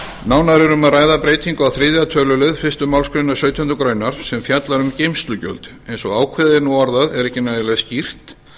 nánar er um að ræða breytingu á þriðja tölulið fyrstu málsgrein sautjándu grein sem fjallar um geymslugjöld eins og ákvæðið er nú orðað er ekki nægilega skýrt